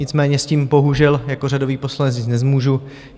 Nicméně s tím bohužel jako řadový poslanec nic nezmůžu.